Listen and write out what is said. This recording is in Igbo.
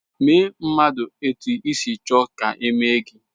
Mee mmadụ etu isi chọọ ka eme gị.